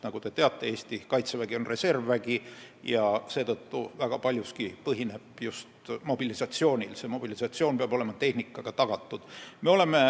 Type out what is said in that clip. Nagu te teate, on Eesti Kaitsevägi reservvägi, mille tegevus põhineb seetõttu väga paljuski mobilisatsioonil, milleks peab olema tagatud tehnika.